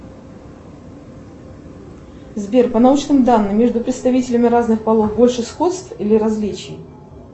сбер по научным данным между представителями разных полов больше сходств или различий